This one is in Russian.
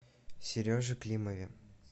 сереже климове